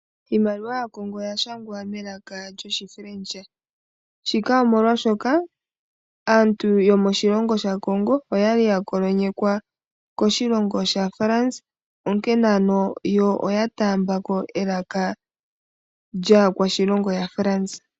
Iimaliwa yaCongo oya shangwa melaka lyoshiFrench shika omolwaashoka aantu yomoshilongo shaCongo oya li kolonyekwa koshilongo shaFrance onkene ano yo oya taamba ko elaka lyaakwashilongo yaFrance.